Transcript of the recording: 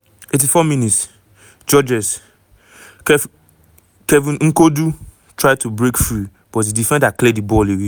84 mins- georges-kevin n'koudou try to break free but di defender clear di ball away.